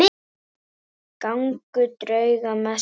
Gangur drauga mesti.